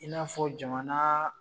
I n'a fɔ jamanaa